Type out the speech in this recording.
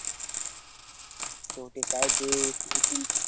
ते बहुतेक काय ते